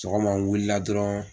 Sɔgɔma n wulila dɔrɔn.